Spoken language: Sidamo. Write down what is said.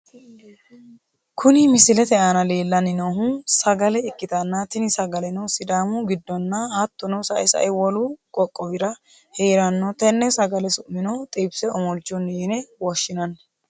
Kuni misilete aana leellanni noohu sagale ikkitanna tini sagaleno, sidaamu giddonna hattono sae sae wolu qoqowirano heeranno, tenne sagale su'mino xibise omolchunni yine woshshinanni.